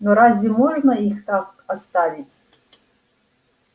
но разве можно их так оставить